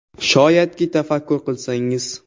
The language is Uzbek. Shoyadki, tafakkur qilsangiz”.